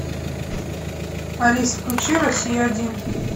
алис включи россию один